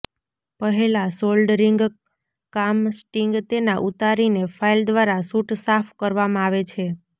પહેલાં સોલ્ડરિંગ કામ સ્ટિંગ તેના ઉતારીને ફાઇલ દ્વારા સૂટ સાફ કરવામાં આવે છે